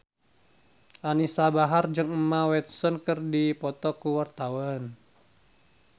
Anisa Bahar jeung Emma Watson keur dipoto ku wartawan